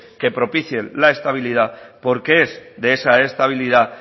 que propicien la estabilidad porque es de esa estabilidad